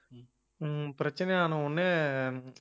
ஹம் பிரச்சனையான உடனே